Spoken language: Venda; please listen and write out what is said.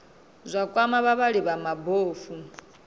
zwa kwama vhavhali vha mabofu